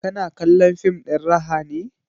Kina kallon fim ɗin raha ne?